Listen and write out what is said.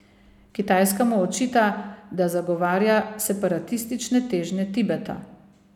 Kitajska mu očita, da zagovarja separatistične težnje Tibeta.